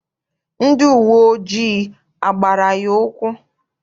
Ndị uwe ojii agbara ya ụkwụ?